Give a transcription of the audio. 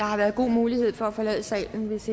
har været god mulighed for at forlade salen hvis